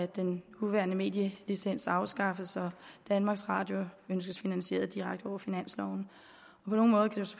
den nuværende medielicens afskaffes og danmarks radio ønskes finansieret direkte over finansloven